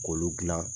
K'olu dilan